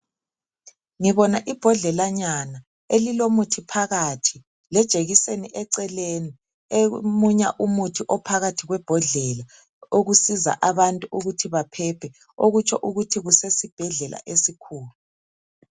Ngibona imbodlelanyana elilomuthi phakathi lejekiseni eceleni emunya umuthi ophakathi kwembodlela okusiza abantu ukuthi baphephe okutsho ukuthi kusesibhedlela esikhulu.